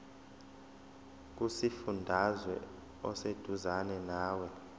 kusifundazwe oseduzane nawe